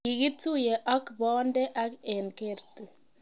kikituye ak boonde ag eng kerti.